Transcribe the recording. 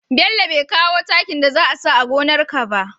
Bello be kawo takin da za a sawa gonar ka ba